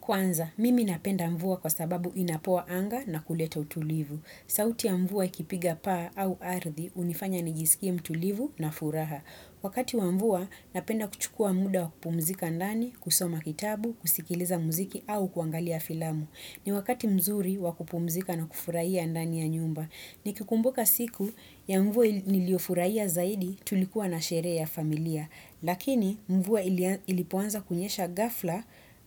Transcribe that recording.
Kwanza, mimi napenda mvua kwa sababu inapoa anga na kuleta utulivu. Sauti ya mvua ikipiga paa au ardhi, unifanya nijisikie mtulivu na furaha. Wakati wa mvua, napenda kuchukua muda wa kupumzika ndani, kusoma kitabu, kusikiliza mziki au kuangalia filamu. Ni wakati mzuri wa kupumzika na kufuraia ndani ya nyumba. Ni kikumbuka siku ya mvua nilio furaia zaidi tulikuwa na sherehe ya familia. Lakini mvua ilipoanza kunyesha gafla